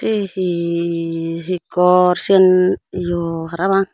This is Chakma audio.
sey he he hi gor seyan yo para pang.